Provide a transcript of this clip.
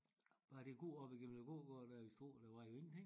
Bare det gå op igennem æ gågade der i Struer der var jo ingenting